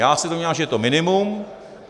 Já se domnívám, že je to minimum.